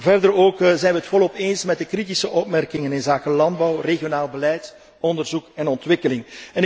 Verder zijn wij het volop eens met de kritische opmerkingen inzake landbouw, regionaal beleid, onderzoek en ontwikkeling.